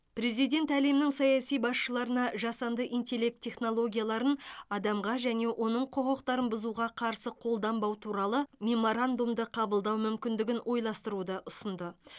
президент әлемнің саяси басшыларына жасанды интеллект технологияларын адамға және оның құқықтарын бұзуға қарсы қолданбау туралы меморандумды қабылдау мүмкіндігін ойластыруды ұсынды